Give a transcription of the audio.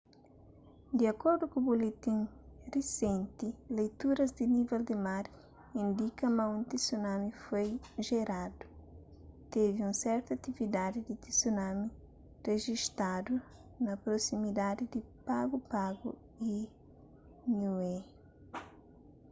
di akordu ku buletin risenti leituras di nível di mar indika ma un tsunami foi jeradu tevi un sertu atividadi di tsunami rejistadu na prosimidadi di pago pago y niue